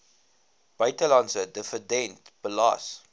buitelandse dividend belas